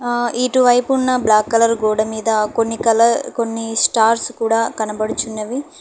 ఆ ఇటువైపు ఉన్న బ్లాక్ కలర్ గోడమీద కొన్ని కలర్ కొన్ని స్టార్ట్స్ కూడా కనబడుచున్నవి.